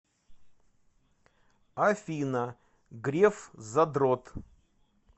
афина греф задрот